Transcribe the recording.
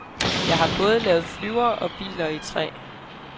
Jeg har både lavet flyvere og biler i træ.